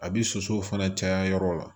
A bi sosow fana caya yɔrɔ la